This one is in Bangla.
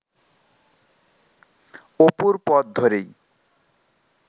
অপুর পথ ধরেই